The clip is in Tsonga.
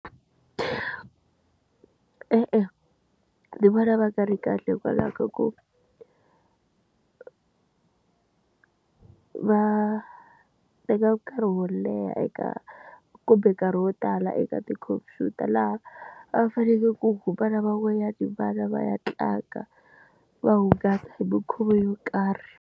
E-e, ndzi vona va ka ri kahle hikwalaho ka ku va teka nkarhi wo leha eka kumbe nkarhi wo tala eka tikhompyuta laha va fanekele ku va na van'wanyana va ya tlanga va hungasa hi minkhuvo yo karhi.